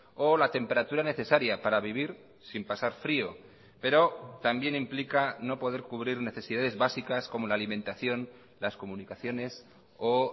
o la temperatura necesaria para vivir sin pasar frio pero también implica no poder cubrir necesidades básicas como la alimentación las comunicaciones o